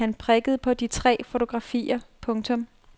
Han prikkede på de tre fotografier. punktum